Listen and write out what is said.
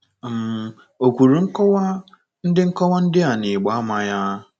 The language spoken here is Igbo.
um O kwuru nkọwa ndị nkọwa ndị a n'ịgba àmà ya.